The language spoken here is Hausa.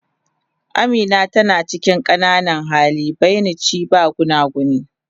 Amina tana cikin qananan hali, buymt shi ba gunaguni.